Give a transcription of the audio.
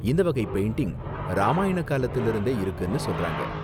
இந்த வகை பெயிண்டிங் ராமாயண காலத்திலிருந்தே இருக்குனு சொல்றாங்க.